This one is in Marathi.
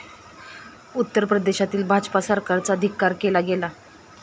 उत्तर प्रदेशातील भाजपा सरकारचा धिक्कार केला गेला.